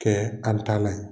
Kɛ an talan ye.